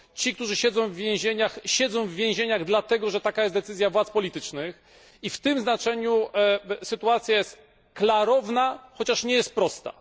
Ci, którzy siedzą w więzieniach, siedzą w więzieniach dlatego, że taka jest decyzja władz politycznych, i w tym znaczeniu sytuacja jest klarowna, chociaż nie jest prosta.